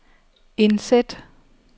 indsæt